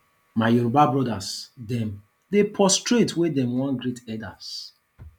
my yoruba brodas dem dey prostrate wen dey wan greet elders